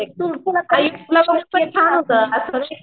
छान होत असं नाय का